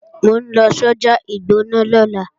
Mò ń lọ sọ́jà ìgbọ̀nà lọ́la